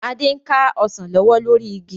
Adé ń ka Ọsàn lọ́wọ́ lórí igi